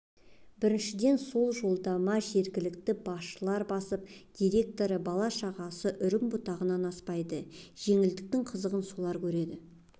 біріншіден ол жолдама жергілікті басшылар бастап директоры бала-шағасы үрім-бұтағынан аспайды жеңілдіктің қызығын солар көреді